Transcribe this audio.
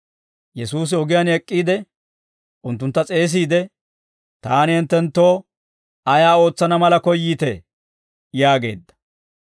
Yesuusi ogiyaan ek'k'iide, unttuntta s'eesiide, «Taani hinttenttoo ayaa ootsana mala koyyiitee?» yaageedda.